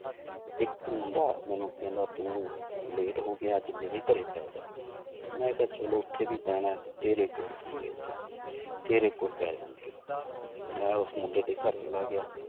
ਇੱਕ ਮੁੰਡਾ ਮੈਨੂੰ ਕਹਿੰਦਾ ਤੂੰ late ਹੋ ਗਿਆ ਅੱਜ ਮੇਰੇ ਘਰੇ ਪੈ ਜਾ ਮੈਂ ਕਿਹਾ ਚਲੋ ਉੱਥੇ ਵੀ ਪੈਣਾ ਹੈ ਤੇਰੇ ਕੋਲ ਸਹੀ ਅੱਜ ਤੇਰੇ ਕੋਲ ਪੈ ਜਾਂਦੇ ਹਾਂ ਮੈਂ ਉਸ ਮੁੰਡੇ ਦੇ ਘਰ ਚਲਾ ਗਿਆ।